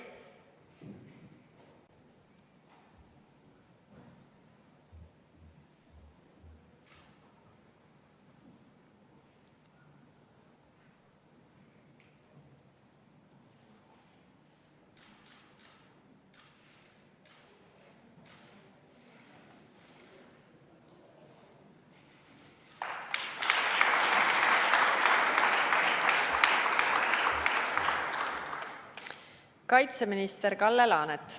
Kaitseminister Kalle Laanet.